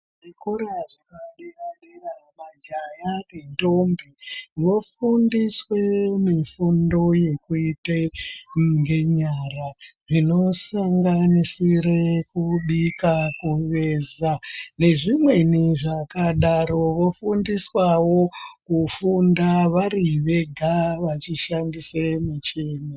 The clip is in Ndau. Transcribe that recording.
Zvikora zvapadera-dera majaya nendombi vofundiswe mifundo yekuita ngenyara zvinosanganisire kubika, kuveza nezvimweni zvakadaro. Vondiswawo kufunda vari vega vachishandise michini.